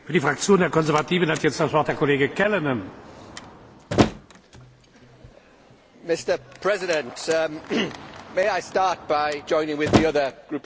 Mr President, may I start by joining with the other group leaders and paying tribute to you and to your brave armed forces for the current operation in Mali.